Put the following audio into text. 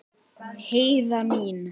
Heiða mín.